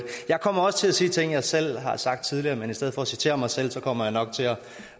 jeg kommer også til at sige ting jeg selv har sagt tidligere men i stedet for at citere mig selv kommer jeg nok til at